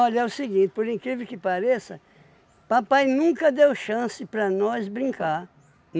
é o seguinte, por incrível que pareça, papai nunca deu chance para nós brincar.